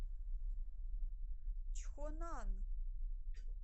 чхонан